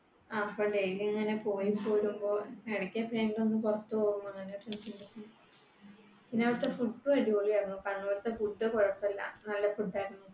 അപ്പൊ daily ഇങ്ങനെ പോയി പോരുമ്പോ എടക്കെപ്പഴെങ്കിലും ഒന്ന് പുറത്തു പോകും പിന്നെ അവിടത്തെ food അടിപൊളിയായിരുന്നു. കണ്ണൂർ തെ food കുഴപ്പമില്ല. നല്ല food ആയിരുന്നു.